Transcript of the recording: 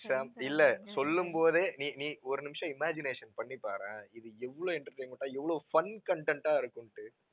இல்ல சொல்லும் போதே நீ நீ ஒரு நிமிஷம் imagination பண்ணி பாரேன், இது எவ்வளவு entertainment ஆ எவ்ளோ fun content ஆ இருக்கும்ட்டு